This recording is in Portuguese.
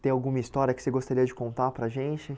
Tem alguma história que você gostaria de contar para a gente?